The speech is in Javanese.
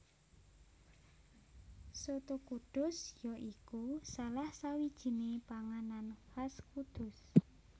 Soto Kudus ya iku salah sawijiné panganan khas Kudus